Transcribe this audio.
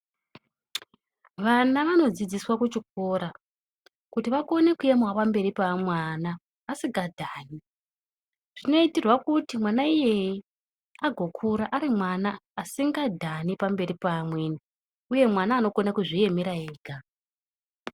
Vana vanodzidziswa kuchikora kuti vakone kuemawo pamberi pevamwe vana asingadhani, zvinoitirwa kuti mwana iyeye agokura ari mwana asingadhani pamberi peamweni uye mwana anokona kuzviemera ega.